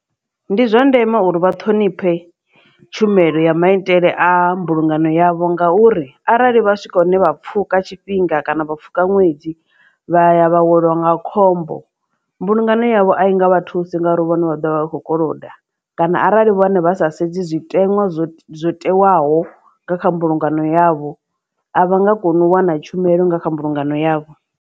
Ndi zwa ndeme uri vha ṱhonifhe tshumelo ya maitele a mbulungano yavho ngauri arali vha swika hune vha pfuka tshifhinga kana vha pfuka ṅwedzi vha ya vha welwa nga khombo mbulungano yavho a i nga vha thusi nga uri vhone vha ḓovha vha kho koloda kana arali vhone vha sa sedzi zwitenwa zwo zwo tewaho nga kha mbulungano yavho a vha nga koni u wana tshumelo nga kha mbulungano yavho.